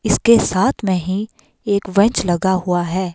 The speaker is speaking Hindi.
इसके साथ में ही एक बैंच लगा हुआ है।